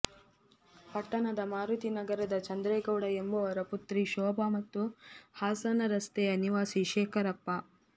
ಪಟ್ಟಣದ ಮಾರುತಿ ನಗರದ ಚಂದ್ರೇಗೌಡ ಎಂಬುವರ ಪುತ್ರಿ ಶೋಭಾ ಮತ್ತು ಹಾಸನ ರಸ್ತೆಯ ನಿವಾಸಿ ಶೇಖರಪ್ಪ